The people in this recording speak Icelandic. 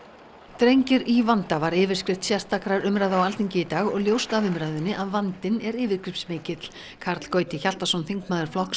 drengir í vanda var yfirskrift sérstakrar umræðu á Alþingi í dag og ljóst af umræðunni að vandinn er yfirgripsmikill Karl Gauti Hjaltason þingmaður Flokks